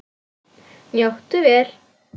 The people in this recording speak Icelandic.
Njóttu vel.